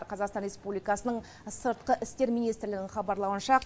қазақстан республикасының сыртқы істер министрлігінің хабарлауынша